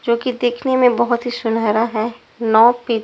जो कि देखने में बहुत ही सुनहरा है नौ पे--